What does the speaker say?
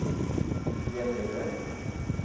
Gäddede